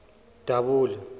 dabula